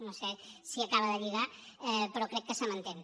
no sé si acaba de lligar però crec que se m’entén